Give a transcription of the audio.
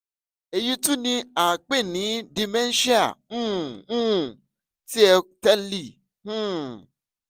eyi tun ni a pe ni dementia um um ti o tẹle um